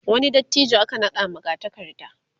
wani dattijo aka naɗa magatakarda